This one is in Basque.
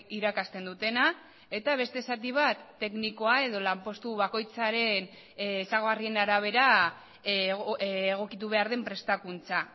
irakasten dutena eta beste zati bat teknikoa edo lanpostu bakoitzaren ezaugarrien arabera egokitu behar den prestakuntza